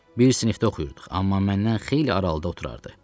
Bir sinifdə oxuyurduq, amma məndən xeyli aralıqda oturardı.